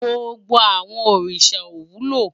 Gbógbó àwòn órisá ó wúló